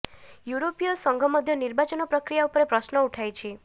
ୟୁରୋପୀୟ ସଂଘ ମଧ୍ୟ ନିର୍ବାଚନ ପ୍ରକ୍ରିୟା ଉପରେ ପ୍ରଶ୍ନ ଉଠାଇଛି